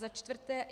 Za čtvrté.